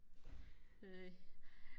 næh